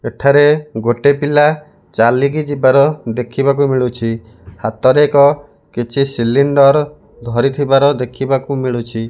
ଏଠାରେ ଗୋଟେ ପିଲା ଚାଲିକି ଯିବାର ଦେଖିବାକୁ ମିଳୁଛି ହାତରେ ଏକ କିଛି ସିଲିଣ୍ଡର ଧରିଥିବାର ଦେଖିବାକୁ ମିଳୁଛି।